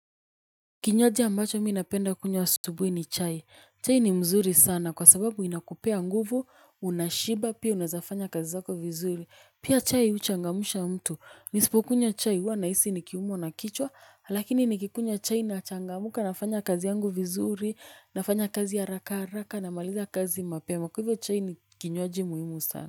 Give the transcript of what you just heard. Kinywaji ambacho mi napenda kunywa asubuhi ni chai. Chai ni mzuri sana kwa sababu inakupea nguvu, unashiba, pia unaweza fanya kazi zako vizuri. Pia chai huchangamsha mtu. Nisipokunywa chai huwa nahisi nikiumwa na kichwa, lakini nikikunywa chai nachangamka, nafanya kazi yangu vizuri, nafanya kazi haraka haraka namaliza kazi mapema. Kwa hivyo chai ni kinywaji muhimu sana.